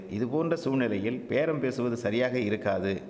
இதுபோன்ற சூழ்நிலையில் பேரம் பேசுவது சரியாக இருக்காது